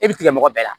E bi tigɛ mɔgɔ bɛɛ la